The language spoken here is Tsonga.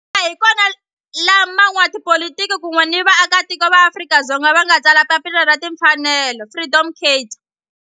Laha hi kona la van'watipolitiki kun'we ni vaaka tiko va Afrika-Dzonga va nga tsala papila ra timfanelo Freedom Charter.